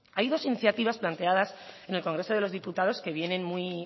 hay dos iniciativas planteadas en el congreso de los diputados que vienen muy